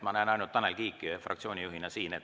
Ma näen ainult Tanel Kiike fraktsioonijuhtidest siin.